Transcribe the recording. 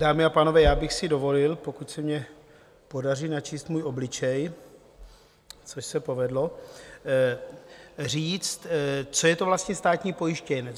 Dámy a pánové, já bych si dovolil - pokud se mi podaří načíst můj obličej , což se povedlo - říct, co je to vlastně státní pojištěnec.